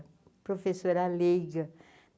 professora leiga.